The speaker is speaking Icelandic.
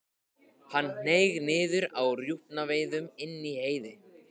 Hann hneig niður á rjúpnaveiðum inni í Heiði.